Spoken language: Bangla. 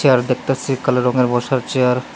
আর দেখতাছি কালো রঙের বসার চেয়ার ।